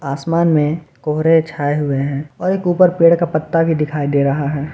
आसमान में कोहरे छाए हुए हैं और एक ऊपर पेड़ का पत्ता भी दिखाई दे रहा है।